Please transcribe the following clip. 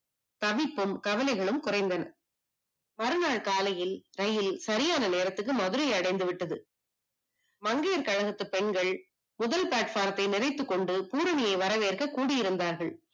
தவிப்பும் கவலைகளும் குறைந்தன. மறுநாள் காலையில் இரயில் சரியான நேரத்துக்கு மதுரையை அடைந்து விட்டது. மங்கையர் கழகத்து பெண்கள் முதல் platform யை நிறைத்து கொண்டு பூரணியை வரவேற்க கூடி இருந்தார்கள்